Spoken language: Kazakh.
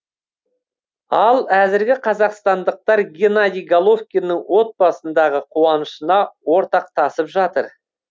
ал әзірге қазақстандықтар геннадий головкиннің отбасындағы қуанышына ортақтасып жатыр